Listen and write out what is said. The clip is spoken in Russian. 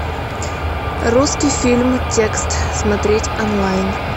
русский фильм текст смотреть онлайн